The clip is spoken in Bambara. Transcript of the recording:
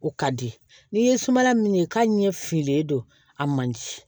O ka di n'i ye suma min ye k'a ɲɛ fililen don a man ci